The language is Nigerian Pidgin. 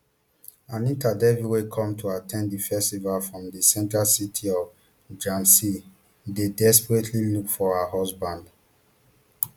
anita devi wey come to at ten d di festival from di central city of jhansi dey desperately look for her husband